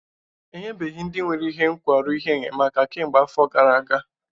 Enyebeghị ndị nwere nkwarụ ihe enyemaka kemgbe afọ gara aga